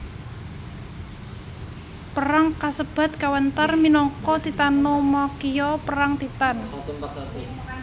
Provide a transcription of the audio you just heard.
Perang kasebat kawéntar minangka Titanomakhia Perang Titan